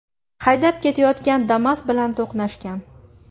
haydab ketayotgan Damas bilan to‘qnashgan.